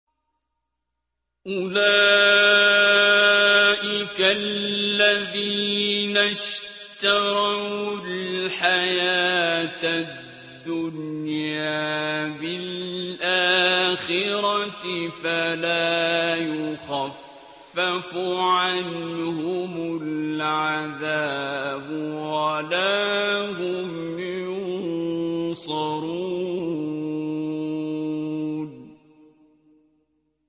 أُولَٰئِكَ الَّذِينَ اشْتَرَوُا الْحَيَاةَ الدُّنْيَا بِالْآخِرَةِ ۖ فَلَا يُخَفَّفُ عَنْهُمُ الْعَذَابُ وَلَا هُمْ يُنصَرُونَ